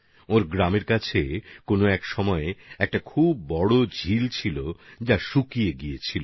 তাঁর গ্রামের পাশে কোন এক সময় একটি বড়সড় হ্রদ ছিল যা এখন শুকিয়ে গেছে